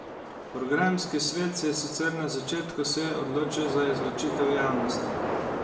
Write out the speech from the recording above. Programski svet se je sicer na začetku seje odločil za izločitev javnosti.